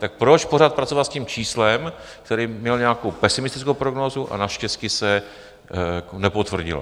Tak proč pořád pracovat s tím číslem, které mělo nějakou pesimistickou prognózu a naštěstí se nepotvrdilo?